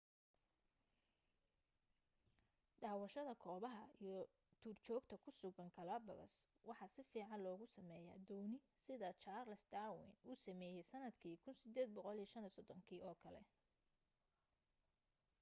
daawashada goobaha iyo duurjoogta ku sugan galapagos waxaa sifiican loogu sameeyaa dooni sida charles darwin uu sameeyay sanadkii 1835 kii oo kale